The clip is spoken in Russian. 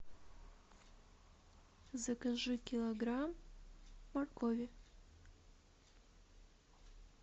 закажи килограмм моркови